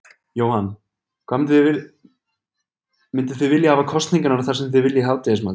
Jóhann: Mynduð þið vilja hafa kosningar þar sem þið veljið hádegismatinn?